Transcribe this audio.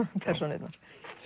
persónurnar